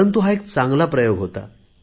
परंतु हा एक चांगला प्रयोग होता